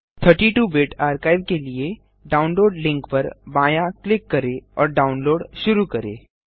32 bit archive के लिए download link पर बायाँ क्लिक करें और डाउनलोड शुरू करें